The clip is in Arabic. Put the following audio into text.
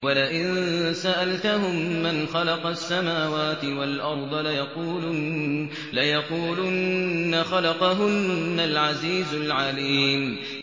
وَلَئِن سَأَلْتَهُم مَّنْ خَلَقَ السَّمَاوَاتِ وَالْأَرْضَ لَيَقُولُنَّ خَلَقَهُنَّ الْعَزِيزُ الْعَلِيمُ